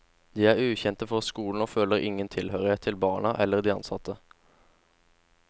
De er ukjente for skolen og føler ingen tilhørighet til barna eller de ansatte.